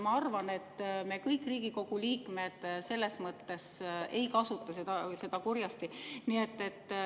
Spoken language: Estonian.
Ma arvan, et me kõik, Riigikogu liikmed, selles mõttes ei kasuta seda kurjasti.